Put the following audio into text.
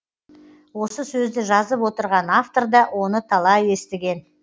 осы сөзді жазып отырған авторда оны талай естіген